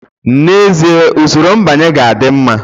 N'ezie, usoro mbanye ga-adị mma